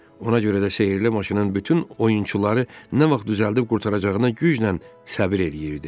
Ona görə də sehirli maşının bütün oyunçuları nə vaxt düzəldib qurtaracağına güclə səbr eləyirdi.